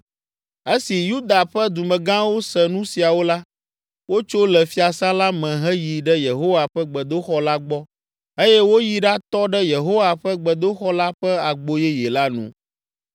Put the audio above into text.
Esi Yuda ƒe dumegãwo se nu siawo la, wotso le fiasã la me heyi ɖe Yehowa ƒe gbedoxɔ la gbɔ eye woyi ɖatɔ ɖe Yehowa ƒe gbedoxɔ la ƒe Agbo Yeye la nu.